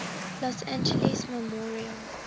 los angeles memorial